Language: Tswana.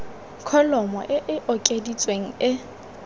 kholomo e e okeditsweng e